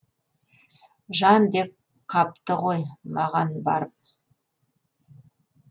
жан деп қапты ғой маған барып